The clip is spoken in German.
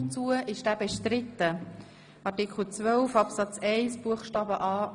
Zu Artikel 12 Absatz 1 Buchstabe c